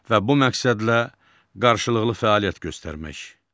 Və bu məqsədlə qarşılıqlı fəaliyyət göstərmək.